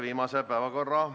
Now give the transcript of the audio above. Aitäh!